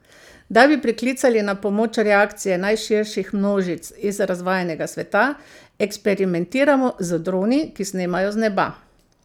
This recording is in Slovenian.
Da bi priklicali na pomoč reakcije najširših množic iz razvajenega sveta, eksperimentiramo z droni, ki snemajo z neba.